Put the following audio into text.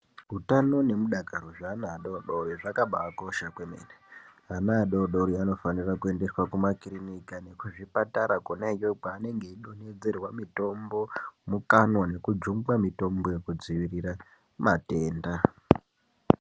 Mutano nemudakaro zvevana vadodori zvakambakosha kwemene ana dodori anofsnira kuendaswa kumakirinika nekuzvipatara konaiyoyo kwanenge eidonhedzerwa mitombo mukanwa nekujungwa mitombo yekudzivirira matenda